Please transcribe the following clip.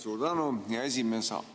Suur tänu, hea esimees!